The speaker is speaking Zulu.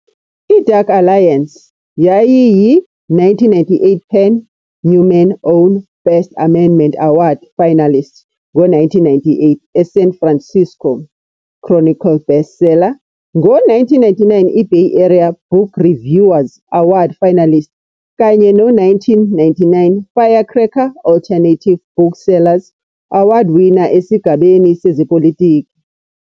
"IDark Alliance" yayiyi-1998 Pen - Newman's Own First Amendment Award Finalist, ngo-1998 "eSan Francisco Chronicle" bestseller, ngo-1999 iBay Area Book Reviewers Award Finalist, kanye no-1999 Firecracker Alternative Booksellers Award Winner esigabeni sezePolitiki.